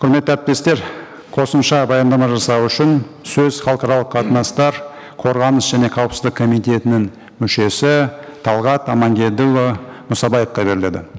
құрметті әріптестер қосымша баяндама жасау үшін сөз халықаралық қатынастар қорғаныс және қауіспіздік комитетінің мүшесі талғат амангелдіұлы мұсабаевқа беріледі